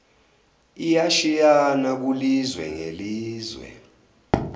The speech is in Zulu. iyashiyana kulizwe ngelizwe